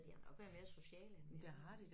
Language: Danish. De har nok været mere sociale end vi har